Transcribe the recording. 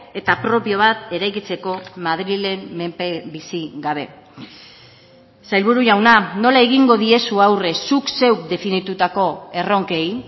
eta propio bat eraikitzeko madrilen menpe bizi gabe sailburu jauna nola egingo diezu aurre zuk zeuk definitutako erronkei